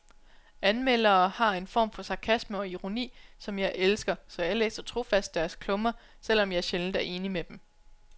Anmeldere har en form for sarkasme og ironi, som jeg elsker, så jeg læser trofast deres klummer, selvom jeg sjældent er enig med dem.